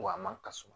Wa ma ka suma